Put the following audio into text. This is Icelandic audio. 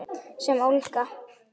Sem ólga.